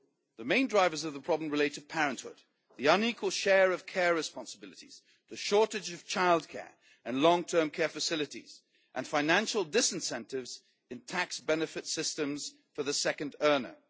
The main drivers of the problem relate to parenthood, the unequal share of care responsibilities, the shortage of childcare and long term care facilities and financial disincentives in tax benefit systems for the second earner.